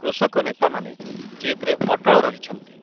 କୃଷକନେତାମାନେ ଜିଦ୍‌ରେ ଅଟଳ ରହିଛନ୍ତି ।